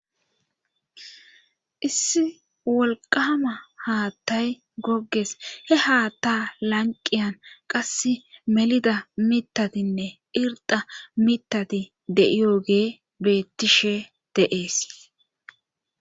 issi wolqama haattay gogges he haatta lanqiyan qass melida mitatinne irda mitati de7iyogee beettishe deees